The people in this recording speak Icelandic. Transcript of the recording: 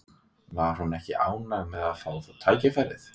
Var hún ekki ánægð með að fá tækifærið?